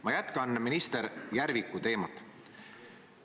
Ma jätkan minister Järviku teemat.